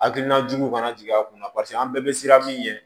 Hakilina juguw kana jigi a kunna paseke an bɛɛ bɛ siran min ɲɛ